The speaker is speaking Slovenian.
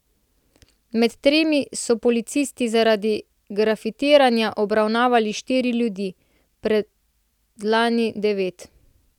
Med temi so policisti zaradi grafitiranja obravnavali štiri ljudi, predlani devet.